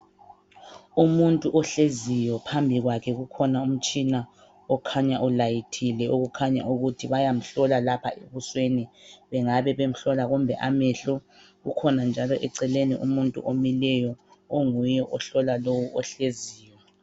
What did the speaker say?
Umuntu ohleziyo phambi kwakhe kukhona umutshina okhanya ulayithile okukhanya ukuthi bayamhlola lapha ebusweni bengabe bemhlola kumbe amehlo kukhona njalo eceleni umuntu omileyo onguye ohlola lowu ohleziyo.